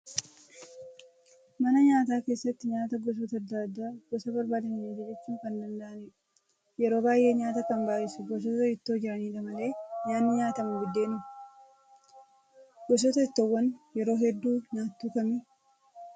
Mana nyaataa keessatti nyaata gosoota adda addaa gosa barbaadaniin ajajachuu kan danda'anidha. Yeroo baay'ee nyaata kan baay'isu gosoota ittoo jiranidha malee nyaanni nyaatamu buddeenuma. Gosoota ittoowwanii yeroo hedduu nyaattu kami?